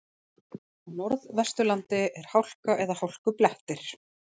Á Norðvesturlandi er hálka eða hálkublettir